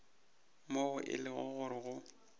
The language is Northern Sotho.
moo e lego gore go